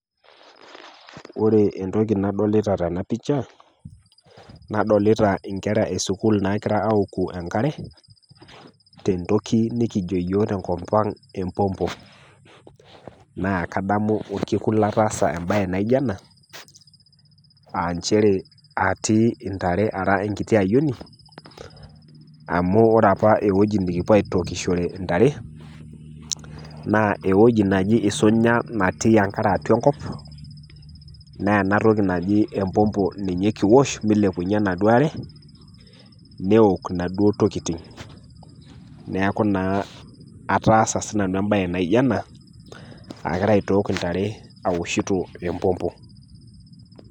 Ore entoki nadolita tena pisha, nadolita inkera e sukuul nagira aoku enkare tentoki nikijo iyiok tenkop aang' empompo. Naa kadamu olkekun lotaasa embae naijo ena aa nchere atii intare ara enkiti ayioni, amu ore opa ewueji nikiwuo aitookishore intare naa ewueji naji Isunya natii enkare atua enkop, naa ena toki naji empompo ninye kiosh meilepunye enaduo are, neook Ina duoo tokitin. Neaku naa ataasa sii nanu embae naijo ena, agira aitook intare aoshito empompo.